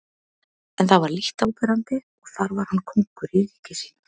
En það var lítt áberandi og þar var hann kóngur í ríki sínu.